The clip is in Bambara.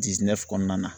kɔnɔna na